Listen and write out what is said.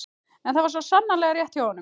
En það var svo sannarlega rétt hjá honum.